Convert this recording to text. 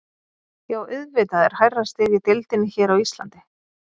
Já auðvitað er hærra stig í deildinni hér á Íslandi.